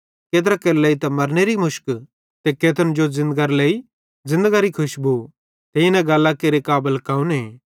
केत्रा केरे लेइ त मरनेरे मुशक ते केत्रन जो ज़िन्दगरे लेइ ज़िन्दगरी खुशबू ते इन गल्लां केरे काबल कौने